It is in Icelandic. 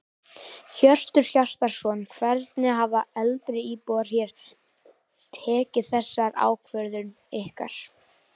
Hjörtur Hjartarson: Hvernig hafa eldri íbúar hér tekið þessar ákvörðun ykkar?